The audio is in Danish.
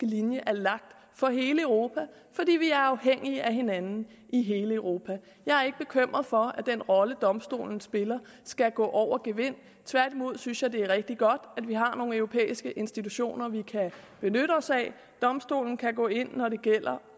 linje er lagt for hele europa fordi vi er afhængige af hinanden i hele europa jeg er ikke bekymret for at den rolle domstolen spiller skal gå over gevind tværtimod synes jeg det er rigtig godt at vi har nogle europæiske institutioner vi kan benytte os af domstolen kan gå ind når det gælder